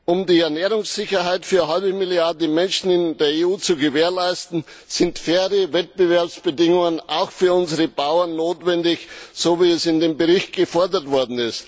Um die Ernährungssicherheit für eine halbe Milliarde Menschen in der EU zu gewährleisten, sind faire Wettbewerbsbedingungen auch für unsere Bauern notwendig, so wie es in dem Bericht gefordert wird.